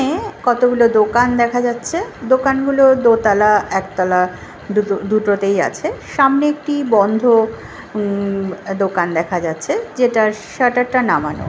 নে কতগুলো দোকান দেখা যাচ্ছে দোকানগুলো দোতালা একতালা দুটো দুটোতেই আছে সামনে একটি বন্ধ উম দোকান দেখা যাচ্ছে যেটার সাটারটা নামানো ।